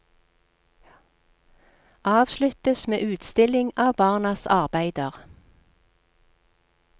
Avsluttes med utstilling av barnas arbeider.